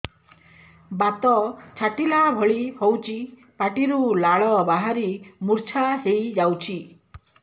ବାତ ଛାଟିଲା ଭଳି ହଉଚି ପାଟିରୁ ଲାଳ ବାହାରି ମୁର୍ଚ୍ଛା ହେଇଯାଉଛି